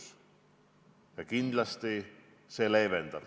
Ja aktsiisi vähendamine kindlasti seda leevendab.